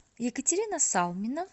екатерина салмина